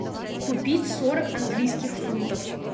купить сорок английских фунтов